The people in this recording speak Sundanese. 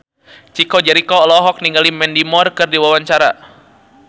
Chico Jericho olohok ningali Mandy Moore keur diwawancara